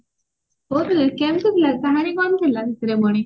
କେମତି ଥିଲା କାହାଣୀ କଣ ଥିଲା ସେଥିରେ ପୁଣି